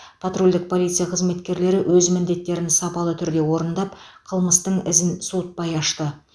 патрульдік полиция қызметкерлері өз міндеттерін сапалы түрде орындап қылмыстың ізін суытпай ашты